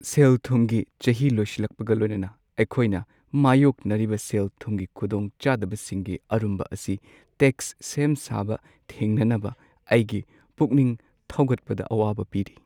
ꯁꯦꯜ-ꯊꯨꯝꯒꯤ ꯆꯍꯤ ꯂꯣꯏꯁꯤꯜꯂꯛꯄꯒ ꯂꯣꯏꯅꯅ, ꯑꯩꯈꯣꯏꯅ ꯃꯥꯢꯌꯣꯛꯅꯔꯤꯕ ꯁꯦꯜ-ꯊꯨꯝꯒꯤ ꯈꯨꯗꯣꯡꯆꯥꯗꯕꯁꯤꯡꯒꯤ ꯑꯔꯨꯝꯕ ꯑꯁꯤ ꯇꯦꯛꯁ ꯁꯦꯝꯁꯥꯕ ꯊꯦꯡꯅꯅꯕ ꯑꯩꯒꯤ ꯄꯨꯛꯅꯤꯡ ꯊꯧꯒꯠꯄꯗ ꯑꯋꯥꯕ ꯄꯤꯔꯤ ꯫